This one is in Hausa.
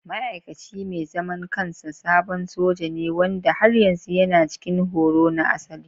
Ma'aikaci mai zaman kansa sabon soja ne wanda har yanzu yana cikin horo na asali.